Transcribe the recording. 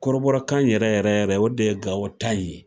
Korobɔrɔkan yɛrɛ yɛrɛ yɛrɛ o de ye Gawo ta in ye.